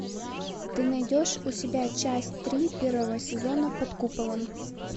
ты найдешь у себя часть три первого сезона под куполом